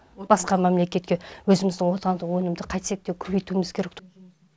басқа мемлекетке өзіміздің отандық өнімді қайтсек те көбейтуіміз керек